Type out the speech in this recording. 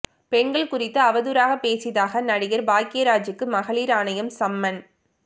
பெண்கள் குறித்து அவதூறாக பேசியதாக நடிகர் பாக்யராஜூக்கு மகளிர் ஆணையம் சம்மன்